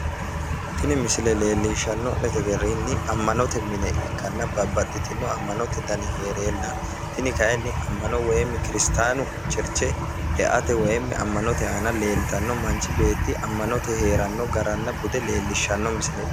Tini misile leellishshanno'ne garinni ammanote mine ikkanna babbaxxitino ammanote dani heereenna tini kayinni ammano woyi kiristaanu cherche eate woyi ammanote aana leeltanno manchi beetti amma'note heeranno garanna bude leellishshanno misileeti.